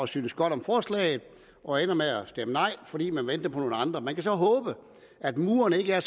synes godt om forslaget og ender med at stemme nej fordi man venter på nogle andre man kan så håbe at murene ikke er